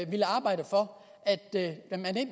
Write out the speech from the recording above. ville arbejde for at